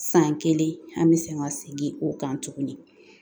San kelen an bɛ segin ka segin o kan tuguni